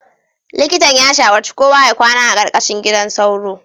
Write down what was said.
Likitan ya shawarci kowa ya kwana a ƙarƙashin gidan sauro